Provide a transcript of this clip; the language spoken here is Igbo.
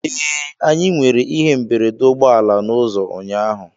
Ee, anyị nwere ihe mberede ụgbọ ala n'ụzọ ụnyaahụ